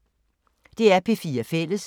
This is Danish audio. DR P4 Fælles